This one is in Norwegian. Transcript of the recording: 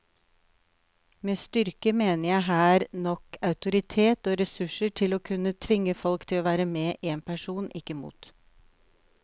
Med styrke mener jeg her nok autoritet og ressurser til å kunne tvinge folk til å være med en person, ikke mot.